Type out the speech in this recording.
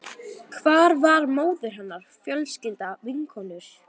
Hvar var móðir hennar, fjölskylda, vinkonur?